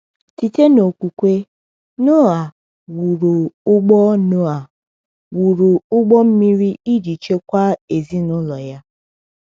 Site n’okwukwe, Noa “wụrụ ụgbọ Noa “wụrụ ụgbọ mmiri iji chekwaa ezinụlọ ya.”